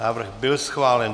Návrh byl schválen.